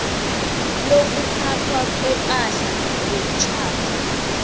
lokuphathwa kwepahla yomtjhado